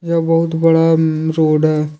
यह बहुत बड़ा रोड है।